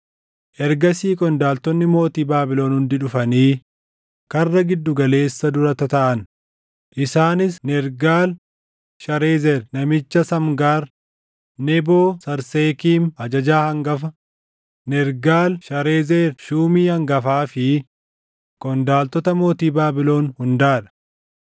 Ergasii qondaaltonni mootii Baabilon hundi dhufanii Karra Giddu Galeessa dura tataaʼan; isaanis Nergaal-Sharezer namicha Samgaar, Neboo-Sarsekiim ajajaa hangafa, Nergaal-Sharezer shuumii hangafaa fi qondaaltota mootii Baabilon hundaa dha.